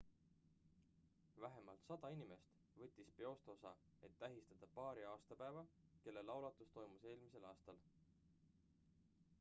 vähemalt 100 inimest võttis peost osa et tähistada paari aastapäeva kelle laulatus toimus eelmisel aastal